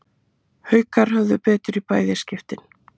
Haukar höfðu betur í bæði skiptin